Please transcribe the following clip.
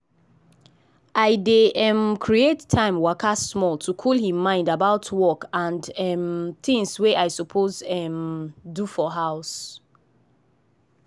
i dey um create time waka small to cool him mind about work and um tings wey i suppose um do for house.